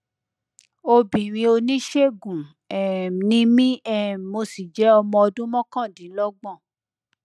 obìnrin oníṣègùn um ni mí um mo sì jẹ ọmọ ọdún mọkàndínlọgbọn